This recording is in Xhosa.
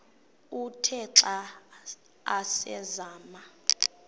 uthe xa asazama